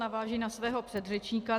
Navážu na svého předřečníka.